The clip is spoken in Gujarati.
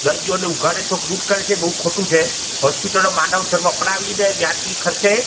દર્દીઓને ઉઘાડે ચોક લૂંટ કરે છે બૌ ખોટું છે હોસ્પિટલો માનવ ધર્મ અપનાવીને વ્યાજબી ખર્ચે --